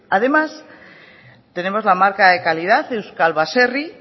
además tenemos la marca de calidad de euskal baserri